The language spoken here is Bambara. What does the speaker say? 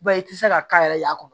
Ba i ti se ka k'a yɛrɛ ye a kɔnɔ